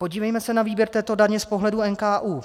Podívejme se na výběr této daně z pohledu NKÚ.